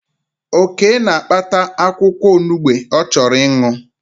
Oke na-akpata akwụkwọ onugbe ọ chọrọ ịṅụ